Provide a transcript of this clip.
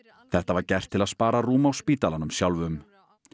þetta var gert til að spara rúm á spítalanum sjálfum